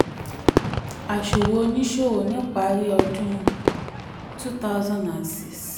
àsùwò oníṣòwò ni ipari ọdún two thousand and six